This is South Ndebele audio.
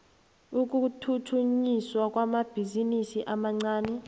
ukuthuthukiswa kwamabhizinisi amancani